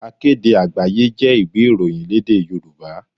Akéde Àgbáyé jẹ́ ìwé ìròyìn lédè Yorùbá.